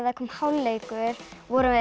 kom hálfleikur vorum við